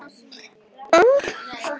En það er nú útúrdúr.